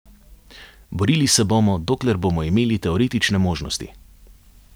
Borili se bomo, dokler bomo imeli teoretične možnosti.